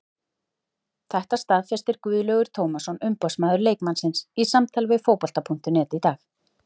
Þetta staðfesti Guðlaugur Tómasson umboðsmaður leikmannsins í samtali við Fótbolta.net í dag.